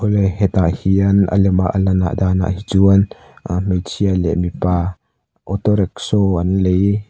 le hetah hian a lema a lanah dânah hi chuan hmeichhe leh mipa auto rickshaw an lei--